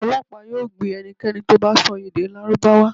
Ọlọpa yoo gbe ẹnikẹni to bá sọ èdè lárúbáwá